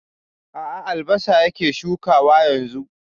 A a, albasa yake shukawa yanzu.